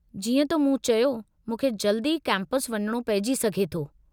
जीअं त मूं चयो, मूंखे जल्द ई कैंपस वञणो पेइजी सघे थो।